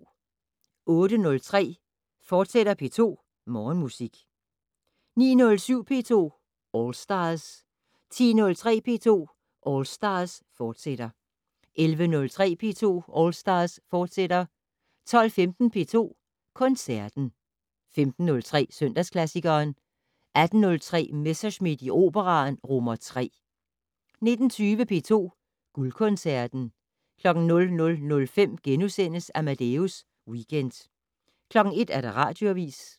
08:03: P2 Morgenmusik, fortsat 09:07: P2 All Stars 10:03: P2 All Stars, fortsat 11:03: P2 All Stars, fortsat 12:15: P2 Koncerten 15:03: Søndagsklassikeren 18:03: Messerschmidt i Operaen III 19:20: P2 Guldkoncerten 00:05: Amadeus Weekend * 01:00: Radioavis